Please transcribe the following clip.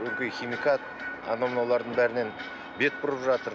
өңкей химикат анау мынаулардың бәрінен бет бұрып жатыр